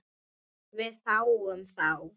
Við fáum þá